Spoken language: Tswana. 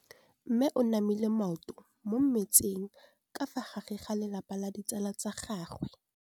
Mme o namile maoto mo mmetseng ka fa gare ga lelapa le ditsala tsa gagwe.